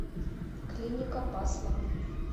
клиника пасман